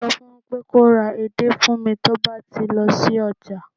so fún pé kò ra edé fún mi ti o ba ti lọ sí ọjà